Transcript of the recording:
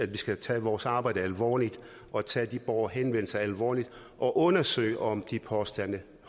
vi skal tage vores arbejde alvorligt og tage de borgerhenvendelser alvorligt og undersøge om de påstande